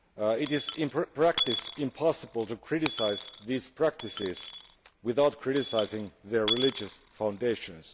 It is in practice impossible to criticise these practices without criticising their religious foundations.